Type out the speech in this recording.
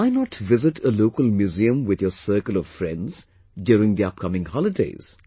Why not visit a local museum with your circle of friends during the upcoming holidays